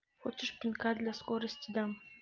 хочешь пинка для скорости дам